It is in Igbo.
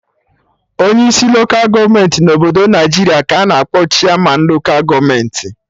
Onyi isi loka gọọmenti na obodo Naijiria ka a-na akpọ Chairmanụ loka gọọmenti